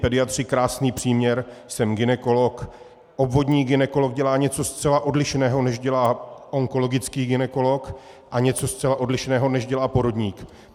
Pediatři - krásný příměr: jsem gynekolog, obvodní gynekolog dělá něco zcela odlišného, než dělá onkologický gynekolog, a něco zcela odlišného, než dělá porodník.